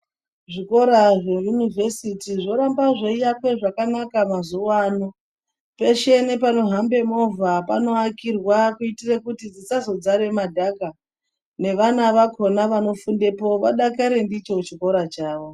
Zvikora zveyunivhesiti zvoramba zveiakwe zvakanaka mazuvano. Peshe nepanohambe movha panoakirwa kuitire kuti dzisazodzare madhaka. Nevana vakona vanofundepo vodakare ndicho chikora chavo.